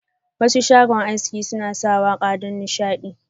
Wasu shago haski suna sa waka don nishadi.